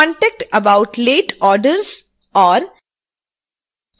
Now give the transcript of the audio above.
contact about late orders और